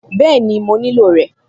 Bẹ́ẹ̀ni, mo nílò rẹ̀